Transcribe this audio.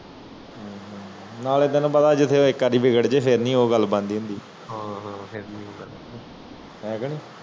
ਨਾਲੇ ਤੈਨੂੰ ਪਤਾ ਜਿਥੇ ਇਕ ਆਦ ਵਿਗੜ ਜੇ ਫਿਰ ਨੀ ਉਹ ਗੱਲ ਬਣਦੀ ਹੁੰਦੀ ਹੈ ਕੇ ਨਹੀਂ